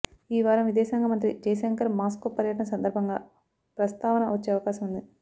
ఈ వారం విదేశాంగ మంత్రి జై శంకర్ మాస్కో పర్యటన సందర్భంగా ప్రస్తావన వచ్చే అవకాశం ఉంది